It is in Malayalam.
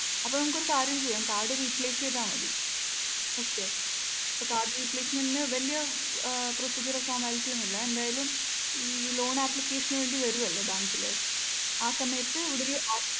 അപ്പൊ നമുക്കൊരു കാര്യം ചെയ്യാം കാർഡ് replace ചെയ്താ മതി. okay അപ്പൊ card repalcement നു വല്യ ഏർ procedure formality ഒന്നുമില്ല. എന്തായാലും ഈ loan application നു വേണ്ടി വരുവല്ലോ ബാങ്കിൽ ആ സമയത്ത് ഇവിടൊരു